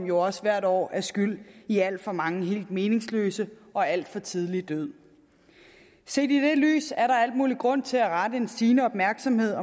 jo også hvert år skyld i alt for manges helt meningsløse og alt for tidlige død set i det lys er der al mulig grund til at rette en stigende opmærksomhed